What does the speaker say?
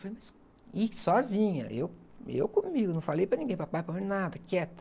E falei, mas, e, sozinha, eu, eu comigo, não falei para ninguém, para pai, para mãe, nada, quieta.